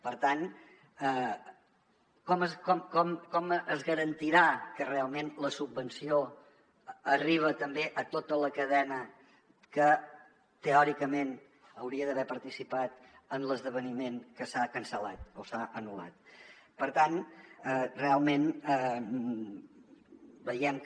per tant com es garantirà que realment la subvenció arriba també a tota la cadena que teòricament hauria d’haver participat en l’esdeveniment que s’ha cancel·lat o s’ha anul·lat per tant realment veiem que